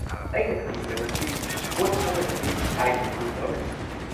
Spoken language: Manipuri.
-ꯑꯩꯅ ꯈꯟꯕꯗ ꯃꯁꯤ ꯚꯣꯠ ꯊꯥꯗꯕꯒꯤ ꯑꯥꯏ.ꯗꯤ. ꯄ꯭ꯔꯨꯐ ꯑꯃꯅꯤ꯫